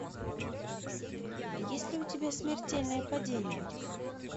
есть ли у тебя смертельное падение